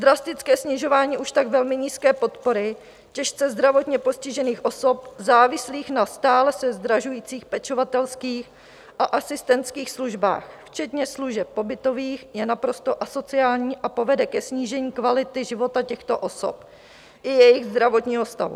Drastické snižování už tak velmi nízké podpory těžce zdravotně postižených osob závislých na stále se zdražujících pečovatelských a asistentských službách, včetně služeb pobytových, je naprosto asociální a povede ke snížení kvality života těchto osob i jejich zdravotního stavu.